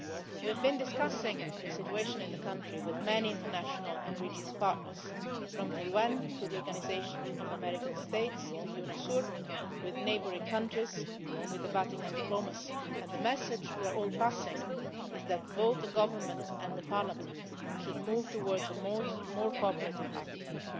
so. We have been discussing the situation in the country with many international and regional partners, from the UN to the Organization of American States to UNASUR, with neighbouring countries, with Vatican diplomacy, and the message we are all passing on is that both the government and the parliament should move towards a more cooperative attitude.